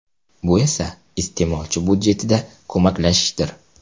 Bu esa iste’molchi budjetida ko‘maklashishdir.